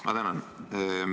Ma tänan!